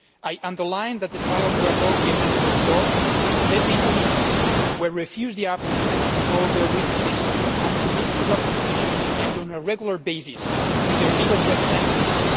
I would like to stress that the trials were held behind closed doors. Detainees were refused the opportunity to call their witnesses and to meet in proper conditions and on a regular basis with their legal representatives.